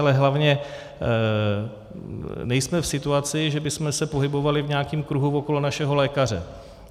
Ale hlavně, nejsme v situaci, že bychom se pohybovali v nějakém kruhu okolo našeho lékaře.